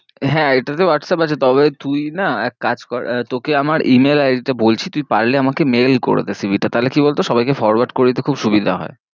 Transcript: হ্যাঁ এটা তেও whatsapp আছে তবে তুই না এক কাজ কর তোকে আমার e -mail id টা বলছি, তুই পারলে আমাকে mail করেদে cv টা তাহলে কি বল তো সবাই কে forward করে দিতে খুব সুবিধা হয়ে।